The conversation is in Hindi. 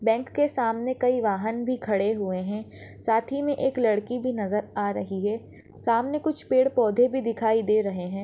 बँक के सामने कई वाहन भी खड़े हुए है साथी मे एक लड़की भी नजर या रही है सामने कुछ पेड़ पौधे भी दिखाई दे रही है।